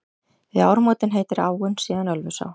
Við ármótin heitir áin síðan Ölfusá.